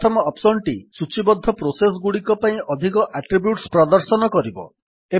ପ୍ରଥମ ଅପ୍ସନ୍ ଟି ସୂଚୀବଦ୍ଧ ପ୍ରୋସେସ୍ ଗୁଡିକ ପାଇଁ ଅଧିକ ଆଟ୍ରିବ୍ୟୁଟ୍ସ ପ୍ରଦର୍ଶନ କରିବ